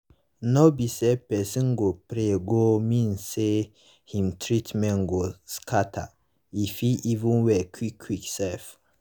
nor be because pesin go pray go mean say him treatment go scata e fit even well quick quick sef